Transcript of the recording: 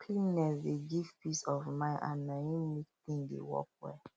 cleanliness dey give peace of mind and na em make thing dey work well